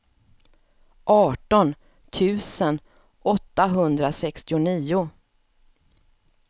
arton tusen åttahundrasextionio